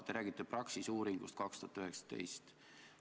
Te räägite Praxise uuringust 2019.